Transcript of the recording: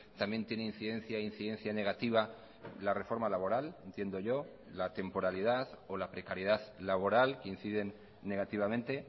también tiene incidencia incidencia negativa la reforma laboral entiendo yo la temporalidad o la precariedad laboral que inciden negativamente